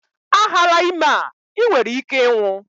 A hala ime a, i nwere ike ịnwụ!